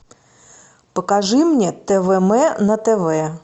покажи мне твм на тв